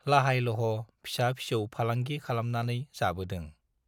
लाहाय-लह' फिसा-फिसौ फालंगि खालामनानै जाबोदों।